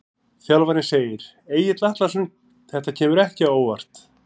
Þjálfarinn segir- Egill Atlason Þetta kemur ekki á óvart.